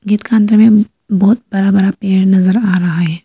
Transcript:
Gate का अंदर में बहुत बड़ा बड़ा पेड़ नजर आ रहा है।